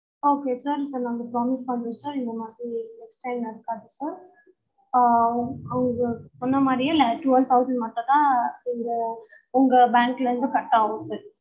okay sir இப்ப நாங்க promise பண்றோம் sir இந்த மாதிரி next time நடக்காது sir ஆஹ் உங்க முன்ன மாறியே twelve thousand மட்டும் தான் இதுல உங்க bank ல இருந்து cut ஆகும் sir